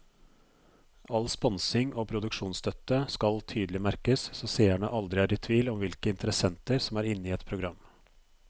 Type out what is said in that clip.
All sponsing og produksjonsstøtte skal tydelig merkes så seerne aldri er i tvil om hvilke interessenter som er inne i et program.